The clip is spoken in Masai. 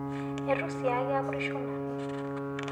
Eitu shaake apurusho nanu